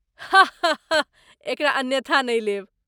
हा हा हा, एकरा अन्यथा नहि लेब।